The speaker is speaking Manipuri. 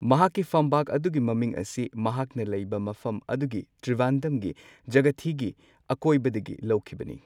ꯃꯍꯥꯛꯀꯤ ꯐꯝꯕꯥꯛ ꯑꯗꯨꯒꯤ ꯃꯃꯤꯡ ꯑꯁꯤ ꯃꯍꯥꯛꯅ ꯂꯩꯕ ꯃꯐꯝ ꯑꯗꯨꯒꯤ ꯇ꯭ꯔꯤꯕꯥꯟꯗꯝꯒꯤ ꯖꯒꯊꯤꯒꯤ ꯑꯀꯣꯏꯕꯗꯒꯤ ꯂꯧꯈꯤꯕꯅꯤ꯫